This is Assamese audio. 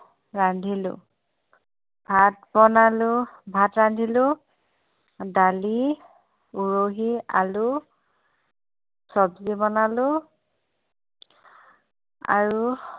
ৰান্ধিলোঁ ভাত বনালোঁ ভাত ৰান্ধিলোঁ দালি উৰহি আলু সবজি বনালোঁ আৰু